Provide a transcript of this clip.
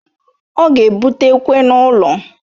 Ọ ga ebute ekwe n'ulo